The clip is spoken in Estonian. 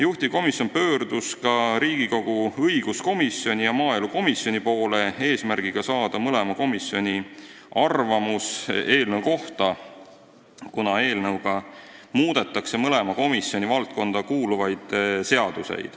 Juhtivkomisjon pöördus ka Riigikogu õiguskomisjoni ja maaelukomisjoni poole, et saada mõlema komisjoni arvamus eelnõu kohta, kuna eelnõuga muudetakse mõlema komisjoni valdkonda kuuluvaid seadusi.